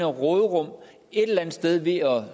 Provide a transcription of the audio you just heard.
råderum et eller andet sted ved at